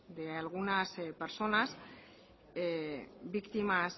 de algunas personas víctimas